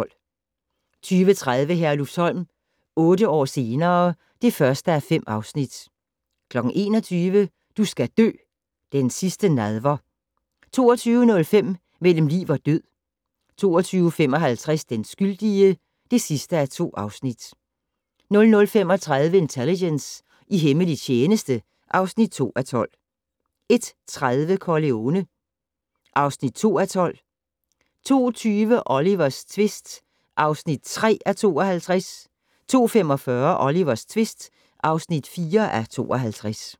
20:30: Herlufsholm - otte år senere ... (1:5) 21:00: Du skal dø: Den sidste nadver 22:05: Mellem liv og død 22:55: Den skyldige (2:2) 00:35: Intelligence - i hemmelig tjeneste (2:12) 01:30: Corleone (2:12) 02:20: Olivers tvist (3:52) 02:45: Olivers tvist (4:52)